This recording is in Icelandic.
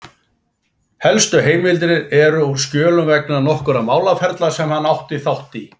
Helstu heimildir eru úr skjölum vegna nokkurra málaferla sem hann átti þátt í.